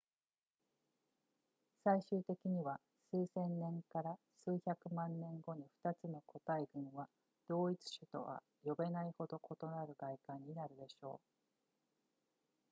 最終的には数千年から数百万年後に2つの個体群は同一種とは呼べないほど異なる外観になるでしょう